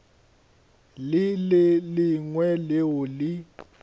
le le lengwe leo le